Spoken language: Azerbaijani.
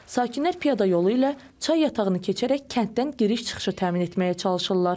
Sakinlər piyada yolu ilə çay yatağını keçərək kənddən giriş-çıxışı təmin etməyə çalışırlar.